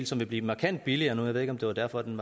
som vil blive markant billigere jeg ved ikke om det var derfor den